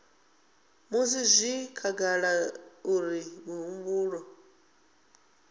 musi zwi khagala uri mihumbulo